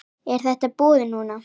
Er þetta búið núna?